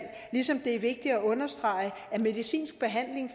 ligesom det er vigtigt at understrege at medicinsk behandling